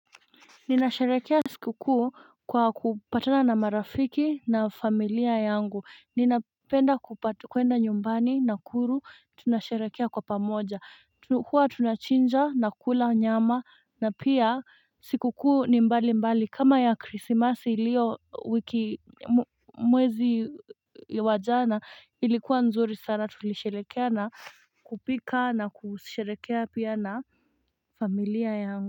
Ninasharehekea siku kuu kwa kupatana na marafiki na familia yangu ninapenda kwenda nyumbani nakuru tunasharekea kwa pamoja huwa tunachinja na kula nyama na pia siku kuu ni mbali mbali kama ya krisimasi ilio wiki mwezi wa jana ilikuwa nzuri sana tulisharehekea na kupika na kusharehekea pia na familia yangu.